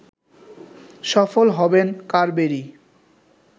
সফল হবেন কারবেরি